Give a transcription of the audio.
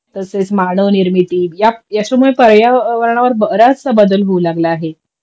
तसेच मानव निर्मिती त्याच्यामुळे पर्यावरणावर बराचस बदल होऊ लागला आहे